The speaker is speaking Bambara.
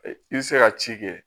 I bɛ se ka ci kɛ